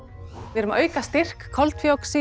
við erum að auka styrk koltvíoxíðs